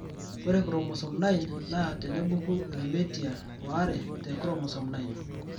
Ore Chromosome 9 naa tenebuku irmeitya waare te chromosome 9.